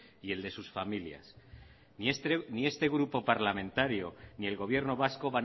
y el de sus familias ni este grupo parlamentario ni el gobierno vasco